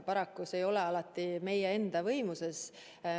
Paraku see ei ole alati meie võimuses.